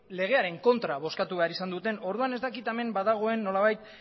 legearen kontra bozkatu behar izan zuten orduan ez dakit hemen badagoen nolabait